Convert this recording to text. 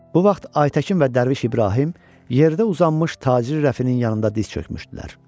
Bu vaxt Aytəkin və Dərviş İbrahim yerdə uzanmış tacir Rəfinin yanında diz çökmüşdülər.